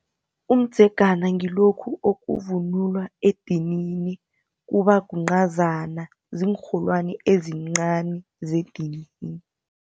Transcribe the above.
Umdzegana ngilokhu okuvunulwa edinini kuba kuncazana. Ziinrholwani ezincani zedinini.